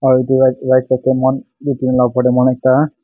aru etu right right side de moikhan etu tin la opor de ekta--